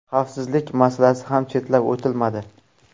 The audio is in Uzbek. Xavfsizlik masalasi ham chetlab o‘tilmadi.